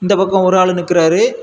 அந்த பக்கம் ஒரு ஆள் நிக்கிறாரு.